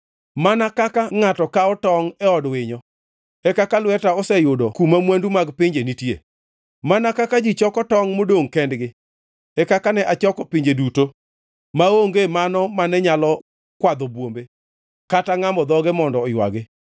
Mana kaka ngʼato kawo tongʼ e od winyo, e kaka lweta oseyudo kuma mwandu mag pinje nitie; mana kaka ji choko tongʼ modongʼ kendgi, e kaka ne achoko pinje duto, maonge mano mane nyalo kwadho bwombe, kata ngʼamo dhoge mondo oywagi.’ ”